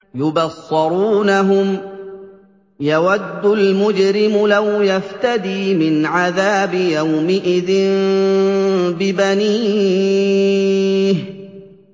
يُبَصَّرُونَهُمْ ۚ يَوَدُّ الْمُجْرِمُ لَوْ يَفْتَدِي مِنْ عَذَابِ يَوْمِئِذٍ بِبَنِيهِ